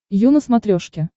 ю на смотрешке